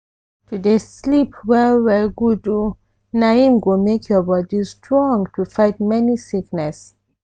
to dey sleep well well good o! na im go make your body strong to fight many sickness.